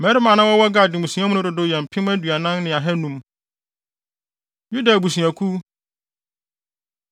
Mmarima a na wɔwɔ Gad mmusua mu no dodow yɛ mpem aduanan ne ahannum (40,500). Yuda Abusuakuw